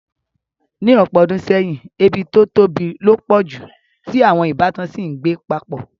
Ní ọ̀pọ̀ odùn seyìn, ebí to tóbi lo pọ̀ ju, ti àwon ìbátan si n gbé papọ̀